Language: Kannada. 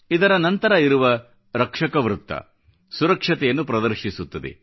ಇದರ ನಂತರ ಇರುವ ರಕ್ಷಕ ಚಕ್ರ ಸುರಕ್ಷತೆಯನ್ನು ಪ್ರದರ್ಶಿಸುತ್ತದೆ